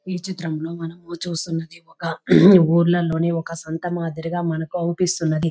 ఈ చిత్రంలో మనం చూస్తున్నదే ఒక ఊర్లలోని ఓక సొంత మాదిరిగా మనకు కనిపిస్తోంది.